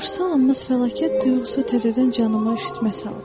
Qarşısı alınmaz fəlakət duyğusu təzədən canıma üşütmə saldı.